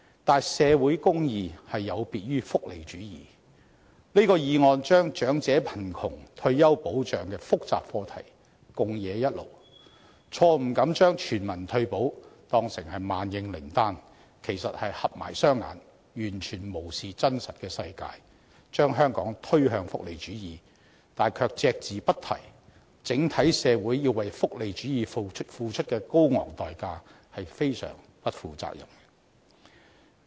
可是，社會公義有別於福利主義，這項議案把長者貧窮和退休保障的複雜課題混為一談，錯誤地把全民退保當成萬應靈丹，其實便是閉起雙眼，完全無視真實的世界，把香港推向福利主義，卻隻字不提整體社會要為福利主義付出的高昂代價，這是相當不負責的。